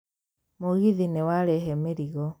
Mũgithi nĩ warehe mĩrigo.